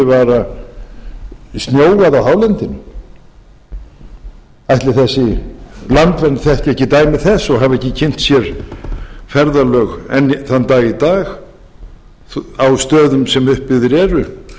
litlum fyrirvara snjóað á hálendinu ætli þessi landvernd þekki ekki dæmi þess og hafi ekki kynnt sér ferðalög enn einn dag í dag á stöðum sem upp byggir eru